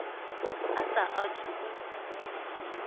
a sa a thu u